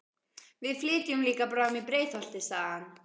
Við flytjum líka bráðum í Breiðholtið, sagði hann.